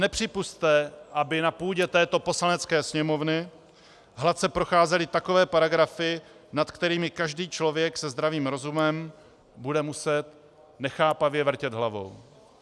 Nepřipusťte, aby na půdě této Poslanecké sněmovny hladce procházely takové paragrafy, nad kterými každý člověk se zdravým rozumem bude muset nechápavě vrtět hlavou.